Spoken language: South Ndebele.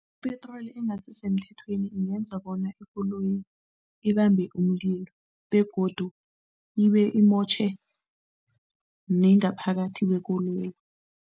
Ipetroli engasisemthethweni ingenza bona ikoloyi ibambe umlilo begodu ibe imotjhe nengaphakathi kwekoloyi.